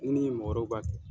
N ni mɔgɔ wɛrɛw b'a kɛ.